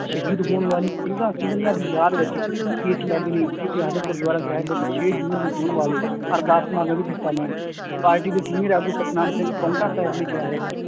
ਸ਼ਹੀਦ ਹੋਣ ਵਾਲੀ ਸਿੰਘਾਂ ਸਿੰਘਣੀਆਂ ਦੀ ਯਾਦ ਵਿੱਚ case ਲੜਨ ਲਈ ਗੁਰੂਦੁਆਰਾ ਸਾਹਿਬ ਵਿੱਚ ਛੇ ਜੂਨ ਨੂੰ ਹੋਣ ਵਾਲੇ ਅਰਦਾਸ ਹਿੱਸਾ ਲੈਣ, ਪਾਰਟੀ ਦੇ senior ਆਗੂ ਸਤਿਨਾਮ ਸਿੰਘ ਪਹੁੰਟਾ ਸਾਹਿਬ ਨੇ ਕਿਹਾ ਹੈ